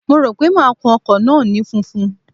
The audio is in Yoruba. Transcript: Mo rò pé máa kun ọkọ̀ náà ní funfun.